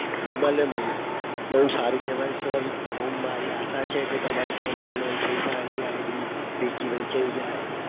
મળે મળે બઉ સારું કેવાય sir મારી આશા છે કે જેમ બને free fire ની id વેચાઈ જાય.